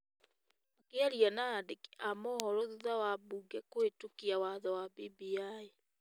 makiaria na andĩki a mohoro thutha wambunge kũhĩtũkia watho wa BBI.